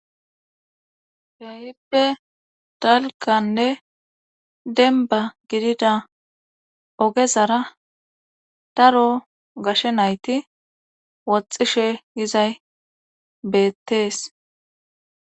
keeyipe dalkanne denba gidida ogezara daro gashe nayti woxxishe izay beettees